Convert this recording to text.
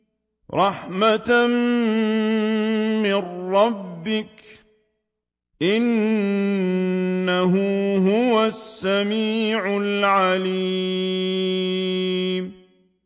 رَحْمَةً مِّن رَّبِّكَ ۚ إِنَّهُ هُوَ السَّمِيعُ الْعَلِيمُ